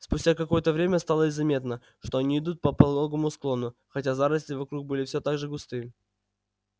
спустя какое-то время стало заметно что они идут по пологому склону хотя заросли вокруг были все так же густы